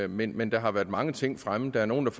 men men der har været mange ting fremme der er nogle